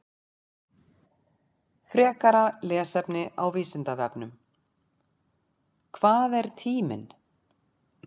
Frekara lesefni á Vísindavefnum: Hvað er tíminn?